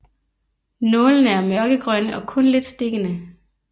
Nålene er mørkegrønne og kun lidt stikkende